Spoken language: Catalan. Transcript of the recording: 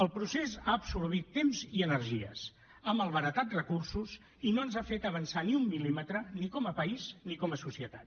el procés ha absorbit temps i energies ha malbaratat recursos i no ens ha fet avançar ni un mil·límetre ni com a país ni com a societat